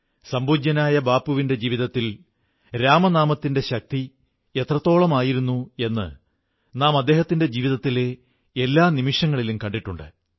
സംപൂജ്യനായ ബാപ്പുവിന്റെ ജീവിതത്തിൽ രാമനാമത്തിന്റെ ശക്തി എത്രത്തോളമായിരുന്നു എന്ന് നാം അദ്ദേഹത്തിന്റെ ജീവിതത്തിലെ എല്ലാ നിമിഷങ്ങളിലും കണ്ടിട്ടുണ്ട്